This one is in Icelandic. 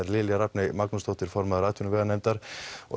Lilja Rafney Magnúsdóttir formaður atvinnuveganefndar og